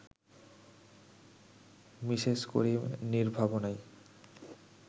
Mrs Karim নির্ভাবনায়